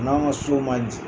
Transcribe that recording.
U n'an ka so man jan